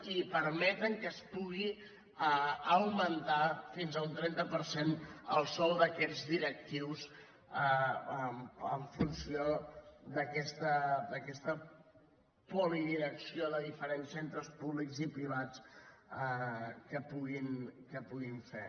i permeten que es pugui augmentar fins a un trenta per cent el sou d’aquests directius en funció d’aquesta polidirecció de diferents centres públics i privats que puguin fer